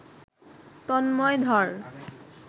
তন্ময় ধর